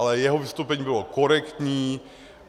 Ale jeho vystoupení bylo korektní.